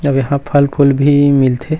सब यहाँ फल-फूल भी मिलथे।